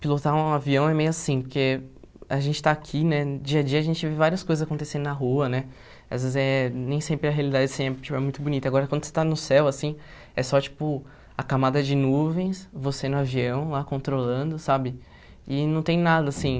pilotar um avião é meio assim, porque a gente está aqui, né, dia a dia a gente vê várias coisas acontecendo na rua, né, às vezes eh nem sempre a realidade sempre tipo é muito bonita, agora quando você está no céu, assim, é só, tipo, a camada de nuvens, você no avião, lá, controlando, sabe, e não tem nada, assim,